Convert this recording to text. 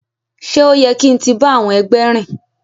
Ṣe o yẹ kin ti ba àwọn ẹgbẹ rìn?